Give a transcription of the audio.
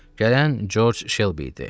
Gələn Corc Şelbi idi.